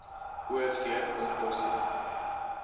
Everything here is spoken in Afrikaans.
o v ontbossing